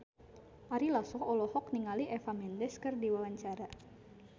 Ari Lasso olohok ningali Eva Mendes keur diwawancara